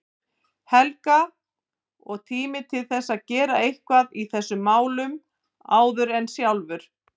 Helga, og tími til að gera eitthvað í þessum málum áður en sjálfur